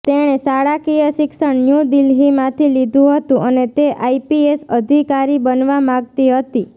તેણે શાળાકીય શિક્ષણ ન્યૂ દિલ્હીમાંથી લીધું હતું અને તે આઈપીએસ અધિકારી બનવા માગતી હતી